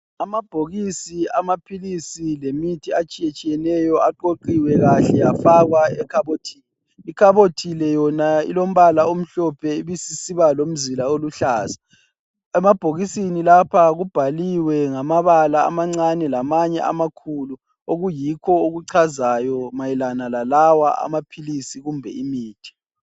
Amabhokisi amaphilisi lemithi atshiyetshiyeneyo aqoqiwe kahle afakwa ekhabothini. Ikhabothi le yona lilombala omhlophe ibisisiba lomzila oluhlaza. Emabhokisini lapha kubhaliwe ngamabala amancane lamanye amakhulu okuyikho okuchazayo mayelana lalawa amaphilisi kumbe imithi.